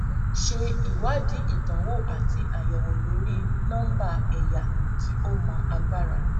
ṣe ìwádìí ìdánwò àti àyẹwò lórí nọmbà ẹyà kí o mọ agbára